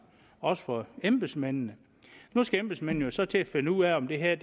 også for embedsmændene nu skal embedsmændene jo så til at finde ud af om det her